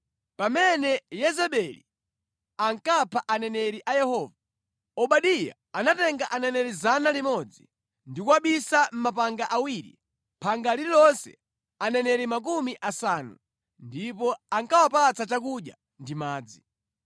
Pamene Yezebeli ankapha aneneri a Yehova, Obadiya anatenga aneneri 100 ndi kuwabisa mʼmapanga awiri, phanga lililonse aneneri makumi asanu, ndipo ankawapatsa chakudya ndi madzi).